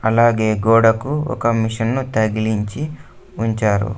అలాగే గోడకు ఒక మిషన్ ను తగిలించి ఉంచారు.